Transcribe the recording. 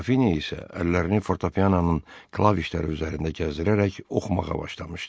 Qrafinya isə əllərini fortepiananın klavişləri üzərində gəzdirərək oxumağa başlamışdı.